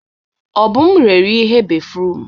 Obum rere ihe béfrụm.